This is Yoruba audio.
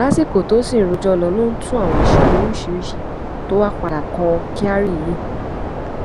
lásìkò tó sì ń rojọ ló ń tú àwọn àṣírí oríṣiríṣiì tó wàá padà kan kyari yìí